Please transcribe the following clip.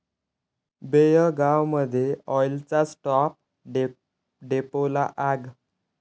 बेळगावमध्ये ऑईलच्या स्टॉप डेपोला आग